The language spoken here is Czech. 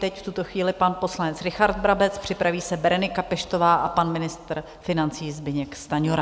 Teď v tuto chvíli pan poslanec Richard Brabec, připraví se Berenika Peštová a pan ministr financí Zbyněk Stanjura.